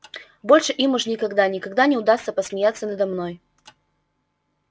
больше им уж никогда никогда не удастся посмеяться надо мной